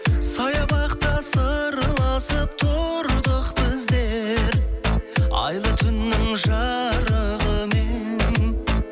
саябақта сырласып тұрдық біздер айлы түннің жарығымен